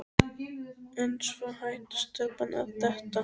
En svo hætti stelpan að detta.